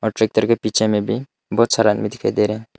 Tractor के पीछे में भी बहुत सारा आदमी दिखाई दे रहा है।